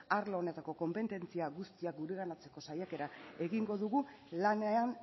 arlo honetako konpetentzia guztiak gureganatzeko saiakera egingo dugu lanean